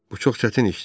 Bu çox çətin işdir.